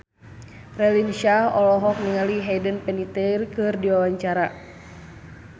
Raline Shah olohok ningali Hayden Panettiere keur diwawancara